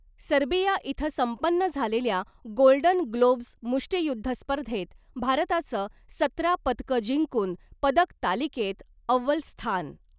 Serbia इथं संपन्न झालेल्या गोल्डन ग्लोव्ज मुष्टियुद्ध स्पर्धेत भारताचं सतरा पदकं जिंकून पदक तालिकेत अव्वल स्थान .